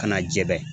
Ka na jɛgɛ